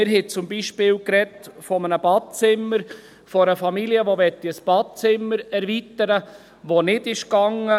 Wir haben beispielsweise von einem Badezimmer gesprochen, von einer Familie, die ein Badezimmer erweitern möchte, was nicht möglich war.